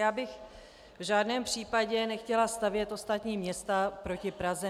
Já bych v žádném případě nechtěla stavět ostatní města proti Praze.